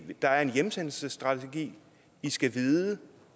der er en hjemsendelsesstrategi i skal vide